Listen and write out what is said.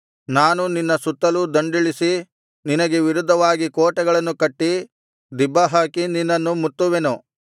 ನಾನು ನಿನ್ನ ಸುತ್ತಲೂ ದಂಡಿಳಿಸಿ ನಿನಗೆ ವಿರುದ್ಧವಾಗಿ ಕೋಟೆಗಳನ್ನು ಕಟ್ಟಿ ದಿಬ್ಬಹಾಕಿ ನಿನ್ನನ್ನು ಮುತ್ತುವೆನು